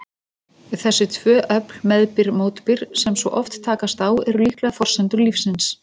Þessi tvö öfl, meðbyr-mótbyr, sem svo oft takast á, eru líklega forsendur lífsins.